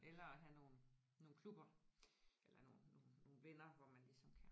Eller at have nogle nogle klubber eller nogle nogle nogle venner hvor man ligesom kan